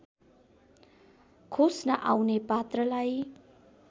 खोस्न आउने पात्रलाई